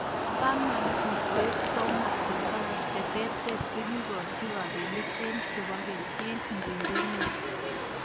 Taman - Kutwet somok cheterteren kokikikochi kapelik eng' chebo keny eng urereno.